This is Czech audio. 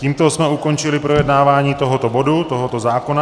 Tímto jsme ukončili projednávání tohoto bodu, tohoto zákona.